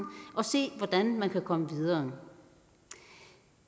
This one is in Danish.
og se hvordan man kan komme videre